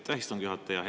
Aitäh, istungi juhataja!